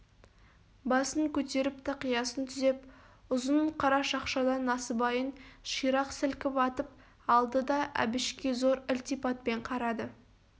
басын көтеріп тақиясын түзеп ұзын қара шақшадан насыбайын ширақ сілкіп атып алды да әбішке зор ілтипатпен қарады